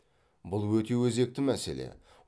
бұл өте өзекті мәселе